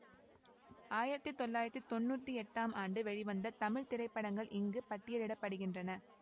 ஆயிரத்தி தொள்ளாயிரத்தி தொன்னூற்தி எட்டாம் ஆண்டு வெளிவந்த தமிழ் திரைப்படங்கள் இங்கு பட்டியலிட படுகின்றன